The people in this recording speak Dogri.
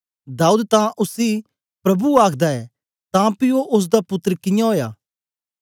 दाऊद तां उसी प्रभु आखदा ऐ तां पी ओ ओसदा पुत्तर कियां ओया